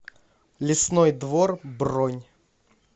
лесной двор бронь